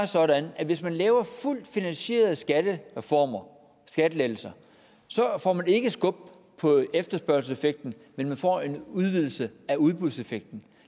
sådan at hvis man laver fuldt finansierede skattereformer skattelettelser så får man ikke skub på efterspørgselseffekten men man får en udvidelse af udbudseffekten